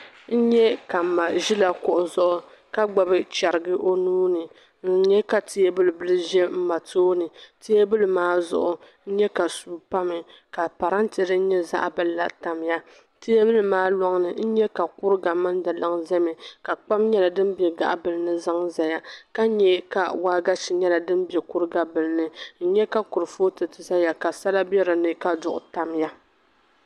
N-nyɛ ka mma ʒi la kuɣa zuɣu ka gbibi cherigi o nuu ni. N-nyɛ ka tabili bil ʒe mma tooni. Tabili maa zuɣu n-nyɛ ka suu pa mi ka parante din nyɛ zaɣ'bila tam-ya. Tabili maa lɔŋ ni n-nyɛ ka kuriga mini di liŋ ʒe mi ka kpam nyɛla din be gaɣi bil ni zaŋ zaya. Ka nyɛ ka waagashi nyɛla din be kuriga bil ni. N-nyɛ ka kurifooti zaya ka sala be di ni ka duɣu tamya